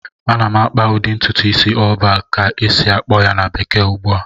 Ana m akpa ụdị ntụtụ isi "all back" ka esi-akpọ ya na bekee ugbu a